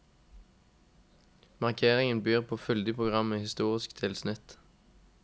Markeringen byr på et fyldig program med historisk tilsnitt.